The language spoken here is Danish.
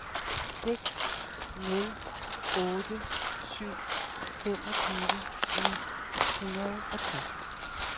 seks nul otte syv femogtyve ni hundrede og tres